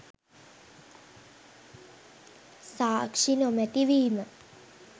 සාක්ෂි නොමැති වීම